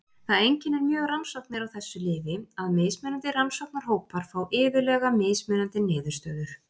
Það einkennir mjög rannsóknir á þessu lyfi að mismunandi rannsóknarhópar fá iðulega mismunandi niðurstöður.